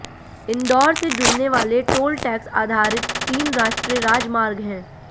इंदौर से जुड़ने वाले टोल टैक्स आधारित तीन राष्ट्रीय राजमार्ग हैं